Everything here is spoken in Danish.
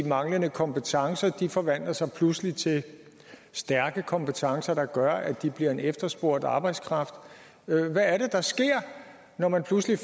manglende kompetencer forvandler de sig pludselig til stærke kompetencer der gør at de bliver en efterspurgt arbejdskraft hvad er det der sker når man pludselig